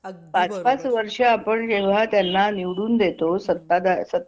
अगदी बरोबर पाच पाच वर्ष आपण जेव्हा त्यांना निवडून देतो सत्ता सत्ता